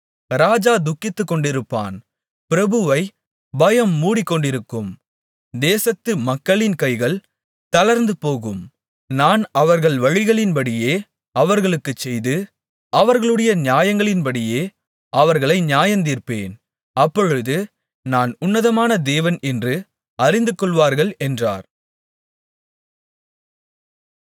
ராஜா துக்கித்துக்கொண்டிருப்பான் பிரபுவைப் பயம் மூடிக்கொண்டிருக்கும் தேசத்து மக்களின் கைகள் தளர்ந்துபோகும் நான் அவர்கள் வழிகளின்படியே அவர்களுக்குச் செய்து அவர்களுடைய நியாயங்களின்படியே அவர்களை நியாயந்தீர்ப்பேன் அப்பொழுது நான் உன்னதமான தேவன் என்று அறிந்துகொள்வார்கள் என்றார்